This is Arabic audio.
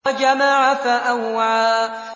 وَجَمَعَ فَأَوْعَىٰ